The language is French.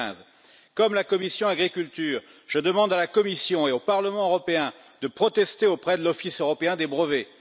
2015. Comme la commission de l'agriculture, je demande à la Commission et au Parlement européen de protester auprès de l'Office européen des brevets.